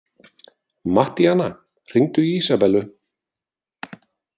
Mattíana, hringdu í Ísabellu.